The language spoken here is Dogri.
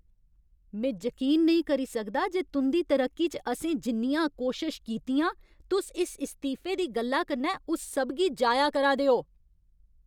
में जकीन नेईं करी सकदा जे तुं'दी तरक्की च असें जिन्नियां कोशश कीतियां, तुस इस इस्तीफे दी गल्ला कन्नै उस सब गी जाया करा दे ओ।